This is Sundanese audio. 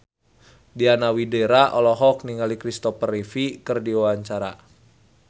Diana Widoera olohok ningali Christopher Reeve keur diwawancara